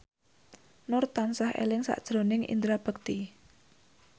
Nur tansah eling sakjroning Indra Bekti